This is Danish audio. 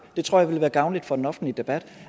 det tror jeg ville være gavnligt for den offentlige debat